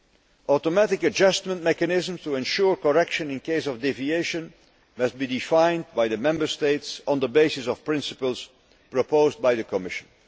third, automatic adjustment mechanisms to ensure correction in case of deviation must be defined by the Member States on the basis of principles proposed by the Commission